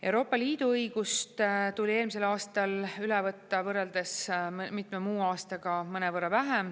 Euroopa Liidu õigust tuli eelmisel aastal üle võtta võrreldes mitme muu aastaga mõnevõrra vähem.